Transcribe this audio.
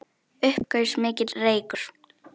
Upp gaus mikill reykur.